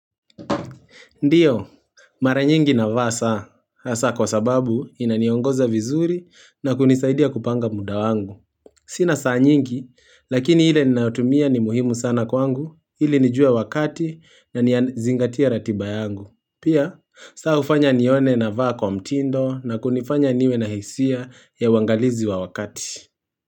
Ndiyo, mara nyingi navaa saa, hasa kwa sababu inaniongoza vizuri na kunisaidia kupanga muda wangu. Sina saa nyingi, lakini ile ninayotumia ni muhimu sana kwangu, ili nijue wakati na nianzingatie ratiba yangu. Pia, saa ufanya nione na vaa kwa mtindo na kunifanya niwe na hisia ya waangalizi wa wakati.